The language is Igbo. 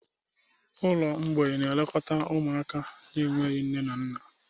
Ụlọ mgbei na-elekọta ụmụaka na-enweghị nne na nna.